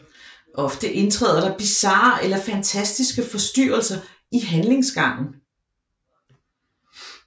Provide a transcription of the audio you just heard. Ofte indtræder der bizarre eller fantastiske forstyrrelser i handlingsgangen